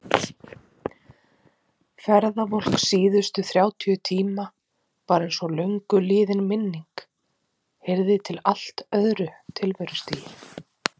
Ferðavolk síðustu þrjátíu tíma var einsog löngu liðin minning, heyrði til allt öðru tilverustigi.